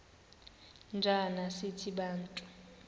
njana sithi bantu